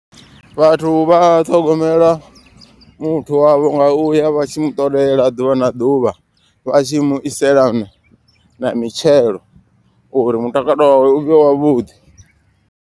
Vhathu vha ṱhogomela muthu wavho nga uya vha tshi mu ṱolela ḓuvha na ḓuvha. Vha tshi mu isela na mitshelo uri mutakalo wawe uvhe wavhuḓi.